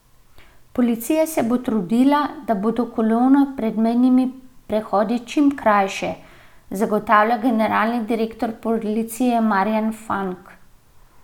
Policija se bo trudila, da bodo kolone pred mejnimi prehodi čim krajše, zagotavlja generalni direktor policije Marjan Fank.